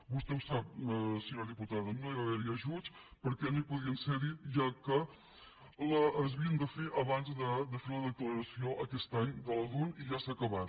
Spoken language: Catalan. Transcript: vostè ho sap senyora diputada no hi va haver ajuts perquè no podien ser hi ja que s’havien de fer abans de fer la declaració aquest any de la dun i ja s’ha acabat